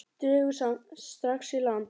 Dregur samt strax í land.